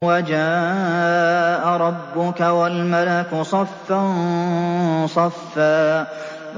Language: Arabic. وَجَاءَ رَبُّكَ وَالْمَلَكُ صَفًّا صَفًّا